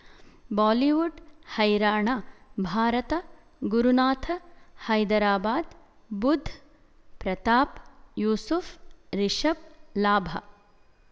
Bollywood ಹೈರಾಣ ಭಾರತ ಗುರುನಾಥ ಹೈದರಾಬಾದ್ ಬುಧ್ ಪ್ರತಾಪ್ ಯೂಸುಫ್ ರಿಷಬ್ ಲಾಭ